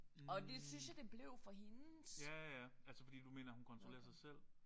Hm ja ja altså fordi du mener hun kontrollerer sig selv